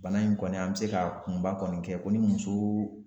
Bana in kɔni an be se ka kunba kɔni kɛ ko ni musoo